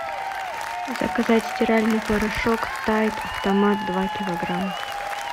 заказать стиральный порошок тайд автомат два килограмма